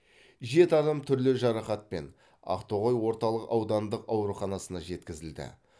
жеті адам түрлі жарақатпен ақтоғай орталық аудандық ауруханасына жеткізілді